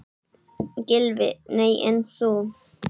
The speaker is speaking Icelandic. Gylfi: Nei en þú?